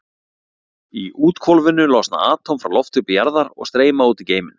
Í úthvolfinu losna atóm frá lofthjúpi jarðar og streyma út í geiminn.